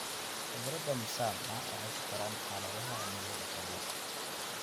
Khudradda msama waxay ku koraan xaaladaha cimilada qabow.